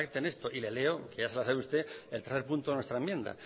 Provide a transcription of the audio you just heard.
pacten esto y le leo que ya se lo sabe usted el tercer punto de nuestra enmienda